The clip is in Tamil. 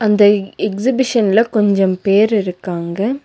தை எக்சிபிஷன்ல கொஞ்சம் பேரு இருக்காங்க.